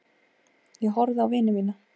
Ég horfði á vini mína.